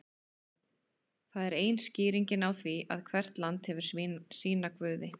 Það er ein skýringin á því að hvert land hefur sína guði.